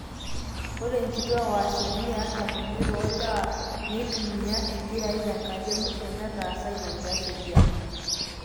ore inkituaak o asilimia artam oimiet oolewa neitumia impirai tenkata emusho nataasa ina kias ekiama